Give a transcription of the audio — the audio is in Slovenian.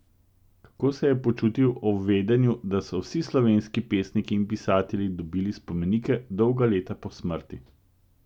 Kako se je počutil ob vedenju, da so vsi slovenski pesniki in pisatelji dobili spomenike dolga leta po smrti?